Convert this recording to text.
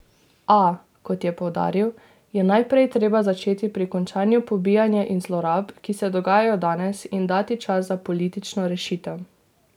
A, kot je poudaril, je najprej treba začeti pri končanju pobijanja in zlorab, ki se dogajajo danes, in dati čas za politično rešitev.